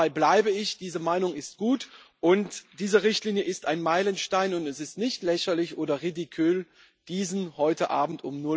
Dabei bleibe ich, diese Meinung ist gut, und diese Richtlinie ist ein Meilenstein, und es ist nicht lächerlich oder ridicule diesen heute Abend